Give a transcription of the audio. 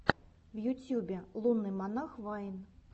в ютьюбе лунный монах вайн